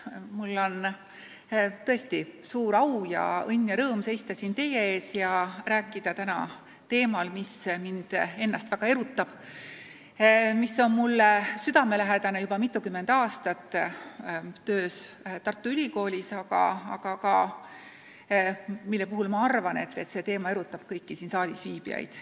Mul on tõesti suur au ja õnn ja rõõm seista siin teie ees ja rääkida täna teemal, mis mind ennast väga erutab, mis on mulle südamelähedane olnud juba mitukümmend aastat minu töös Tartu Ülikoolis, aga mille kohta ma arvan, et see teema erutab kõiki siin saalis viibijaid.